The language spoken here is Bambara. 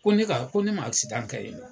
Ko ne'ka , ko ne ma kɛ yen.